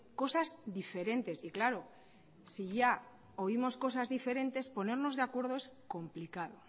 cosas diferentes y claro si ya oímos cosas diferentes ponernos de acuerdo es complicado